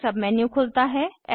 एक sub menu खुलता है